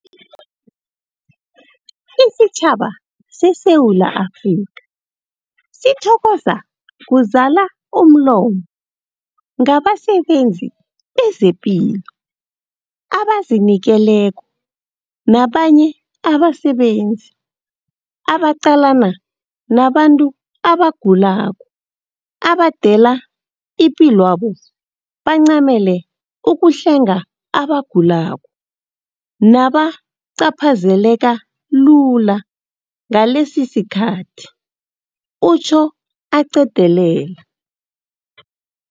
Isitjhaba seSewula Afrika sithokoza kuzala umlomo ngabasebenzi bezepilo abazinikeleko nabanye abasebenzi abaqalana nabantu abagulako abadela ipilwabo bancamele ukuhlenga abagulako nabacaphazeleka lula ngalesisikhathi, utjho aqedelela.